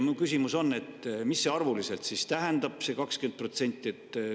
Mu küsimus on, mida see siis arvuliselt tähendab, see 20%.